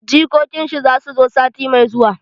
Jikokin shi zasu zo sati mai zuwa